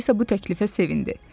Alisa bu təklifə sevindi.